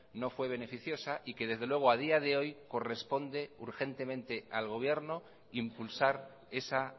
no fue beneficiosa y que desde luego a día de hoy corresponde urgentemente al gobierno impulsar esa